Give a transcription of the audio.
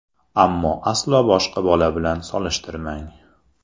Ammo aslo boshqa bola bilan solishtirmang.